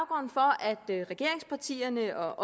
det er at regeringspartierne og